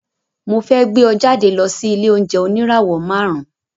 Mo fẹ́ gbé ọ jáde lọ sí ilé-oúnjẹ oníràwọ̀ márùn-ún.